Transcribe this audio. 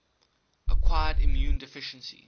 acquired immune deficiency